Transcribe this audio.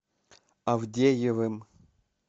авдеевым